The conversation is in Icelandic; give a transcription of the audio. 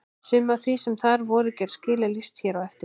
Sumu af því sem þar voru gerð skil er lýst hér á eftir.